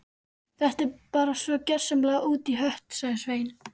Þetta er bara svo gjörsamlega út í hött sagði Svein